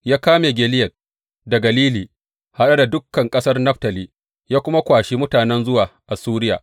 Ya kame Gileyad da Galili, haɗe da dukan ƙasar Naftali, ya kuma kwashi mutanen zuwa Assuriya.